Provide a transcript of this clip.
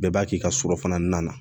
Bɛɛ b'a k'i ka so kɔnɔna na